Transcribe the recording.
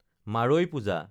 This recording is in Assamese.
মাৰৈ পূজা